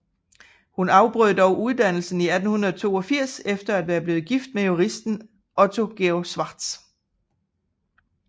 Hun afbrød dog uddannelsen i 1882 efter at være blevet gift med juristen Otto Georg Schwartz